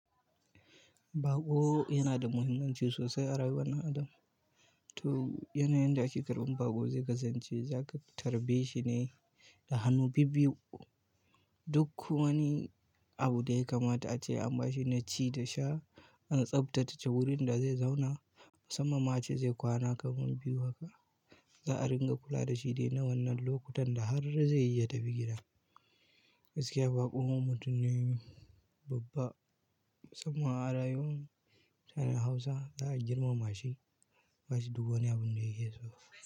Baƙo yana da muhimmanci sosai a rayuwar ɗan adam. To yanayin da ake karɓar baƙo zai kasance zaka tarbeshine da hanu bibbiyu duk ku wani abu da ya kamata ace an ba shi naci da sha, an tsabtace wurin da zai zauna, musamman ma ace zai kwana kaman biyu haka. Za a ringa kula da shi ne na wannan lokutan da har dai zaiyi ya tafi gida. Gaskiya baƙo mutum ne babba, musamman a rayuwar mutanen Hausa za a girmama shi. Ba shi duk wani abun da yike so.